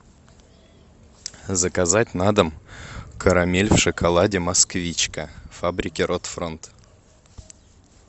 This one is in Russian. заказать на дом карамель в шоколаде москвичка фабрики рот фронт